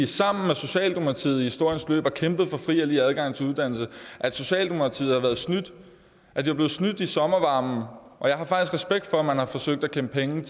sammen med socialdemokratiet i historiens løb kæmpet for fri og lige adgang til uddannelse socialdemokratiet er blevet snydt i sommervarmen jeg har faktisk respekt for at man har forsøgt at kæmpe penge